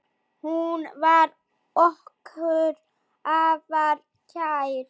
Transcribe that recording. Hún var okkur afar kær.